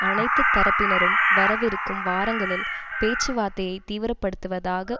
அனைத்து தரப்பினரும் வரவிருக்கும் வாரங்களில் பேச்சுவார்த்தையைத் தீவிரப்படுத்துவதாக